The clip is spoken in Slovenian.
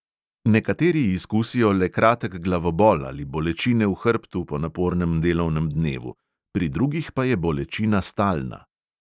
Nekateri izkusijo le kratek glavobol ali bolečine v hrbtu po napornem delovnem dnevu, pri drugih pa je bolečina stalna.